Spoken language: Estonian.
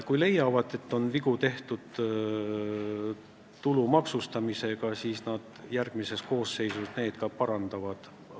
Kui nad leiavad, et tulumaksustamisel on vigu tehtud, siis nad järgmises koosseisus need ka parandavad.